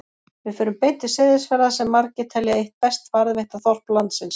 Við förum beint til Seyðisfjarðar sem margir telja eitt best varðveitta þorp landsins.